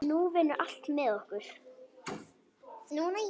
Nú vinnur allt með okkur.